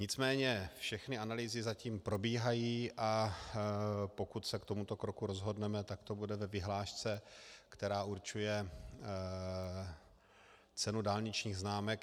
Nicméně všechny analýzy zatím probíhají, a pokud se k tomuto kroku rozhodneme, tak to bude ve vyhlášce, která určuje cenu dálničních známek.